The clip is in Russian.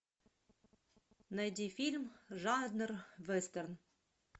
найди фильм жанр вестерн